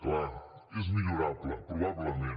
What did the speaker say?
clar és millorable probablement